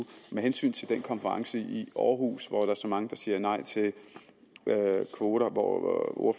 med hensyn til den konference i aarhus hvor der er så mange der siger nej til kvoter og hvor